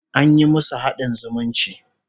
An yi musu haɗin zumunci